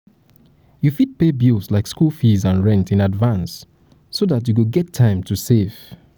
you fit pay bills like school fees and rent in advance so dat you go get time to save